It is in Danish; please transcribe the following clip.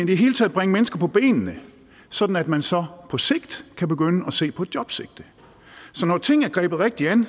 det hele taget bringe mennesker på benene sådan at man så på sigt kan begynde at se på et jobsigte så når tingene er grebet rigtigt an